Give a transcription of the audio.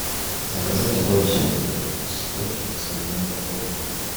заказать воду святой источник с объемом пол литра